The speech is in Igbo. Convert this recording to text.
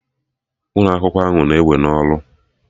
Ụlọ akwụkwọ ahụ na-ewe na ọrụ